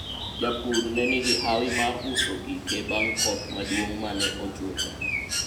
japur ne nigi hawi mar uso gike bang' koth maduong' mane ochwecha